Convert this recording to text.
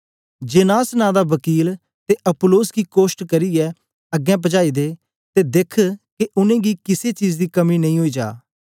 genus नां दा बकील ते अपुल्लोस गी कोष्ट करियै अग्गें पजाई दे ते देख्ख के उनेंगी किसे चीज दी कमी नेई ओई जा